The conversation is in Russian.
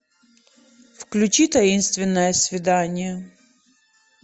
включи таинственное свидание